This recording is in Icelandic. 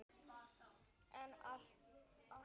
En að allt öðru!